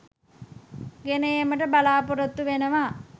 ගෙන ඒමට බලාපොරොතු වෙනවා.